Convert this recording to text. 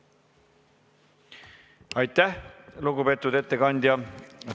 Aitäh, lugupeetud ettekandja!